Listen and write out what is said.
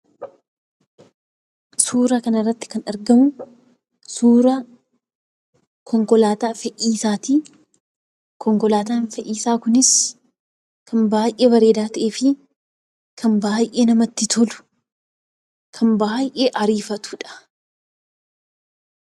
Suuraa kana irratti kan argamuu konkolaataa fe'iinsaati. Konkolaataan fe'iinsaa kunis kan baayyee miidhagaa ta'ee, namatti toluu fi baayyee ariifatuu dha.